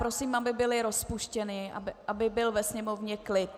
Prosím, aby byly rozpuštěny, aby byl ve sněmovně klid.